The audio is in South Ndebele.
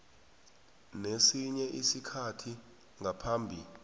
nesinye isikhathi ngaphambi